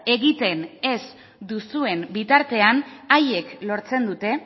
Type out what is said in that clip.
egiten ez duzuen bitartean haiek lortzen dute